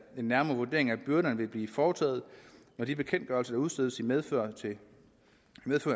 nærmere vurdering af byrderne vil blive foretaget når de bekendtgørelser der udstedes i medfør